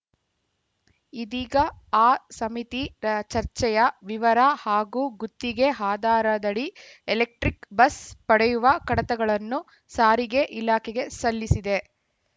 ಇದೀಗ ಆ ಸಮಿತಿ ರ ಚರ್ಚೆಯ ವಿವರ ಹಾಗೂ ಗುತ್ತಿಗೆ ಆಧಾರದಡಿ ಎಲೆಕ್ಟ್ರಿಕ್‌ ಬಸ್‌ ಪಡೆಯುವ ಕಡತಗಳನ್ನು ಸಾರಿಗೆ ಇಲಾಖೆಗೆ ಸಲ್ಲಿಸಿದೆ